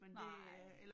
Nej